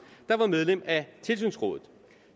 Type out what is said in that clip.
der var medlem af tilsynsrådet